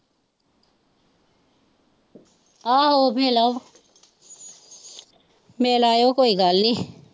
ਆਹੋ ਮਿਲ ਆ ਮਿਲ ਆਇਓ ਕੋਈ ਗੱਲ ਨੀ।